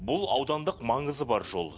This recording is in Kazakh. бұл аудандық маңызы бар жол